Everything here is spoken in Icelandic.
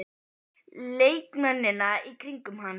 Leikmennina í kringum hann?